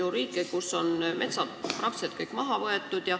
On ju riike, kus on peaaegu kogu mets maha võetud.